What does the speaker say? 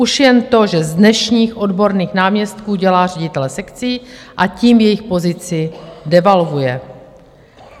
Už jen to, že z dnešních odborných náměstků dělá ředitele sekcí, a tím jejich pozici devalvuje.